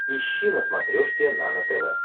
ищи на смотрешке нано тв